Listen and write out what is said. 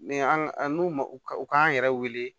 Ni an'u ma u k'an yɛrɛ wele